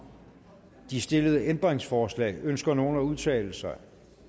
de stillede ændringsforslag ønsker nogen at udtale sig